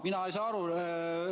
Mina ei saa aru.